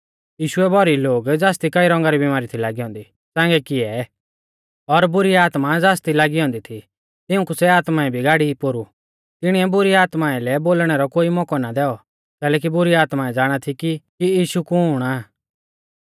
यीशुऐ भौरी लोग ज़ासदी कई रौंगा री बीमारी थी लागी औन्दी च़ांगै कियै और बुरी आत्मा ज़ासदी लागी औन्दी थी तिऊंकु सै आत्माऐं भी गाड़ी पोरु तिणीऐ बुरी आत्माऐं लै बोलणै रौ कोई मौकौ ना दैऔ कैलैकि बुरी आत्माऐं ज़ाणा थी कि यीशु कुण आ